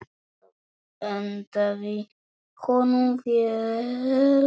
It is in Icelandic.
Það hentaði honum vel.